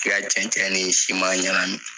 ka cɛncɛn ni siman ɲagami